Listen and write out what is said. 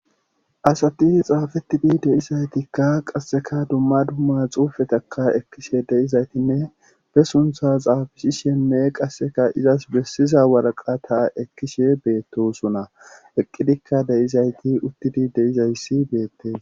asati xaafettidi deyizaytikka qasseka dumma dumma xuufetaka ekkishe de'izaytinne be suntha xaafisi shenne qasseka izas bessiza waraqa ta ekkishe beettosuna eqqidikka deyizayti uttidi de'izayssi beette